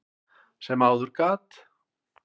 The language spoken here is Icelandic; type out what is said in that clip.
sem áður gat.